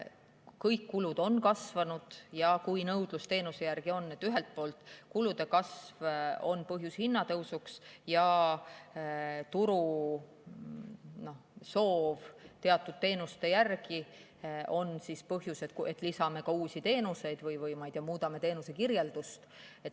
Kõik kulud on kasvanud ja kui nõudlus teenuse järele on, siis ühelt poolt on kulude kasv põhjus hinnatõusuks ja turu soov teatud teenuste järele on põhjus, et lisame ka uusi teenuseid või muudame teenuse kirjeldust.